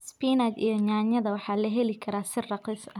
Spinach iyo yaanyada waxaa lahelii karaa si raqiis aah.